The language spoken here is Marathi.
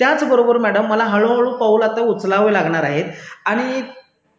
त्याचबद्दल मॅडम मला हळूहळू पावलं आता उचलावे लागणार आहे आणि